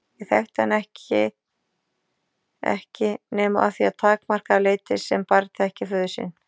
Ég þekkti hann ekki ekki nema að því takmarkaða leyti sem barn þekkir föður sinn.